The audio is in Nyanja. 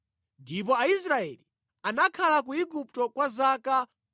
Ndipo Aisraeli anakhala ku Igupto kwa zaka 430.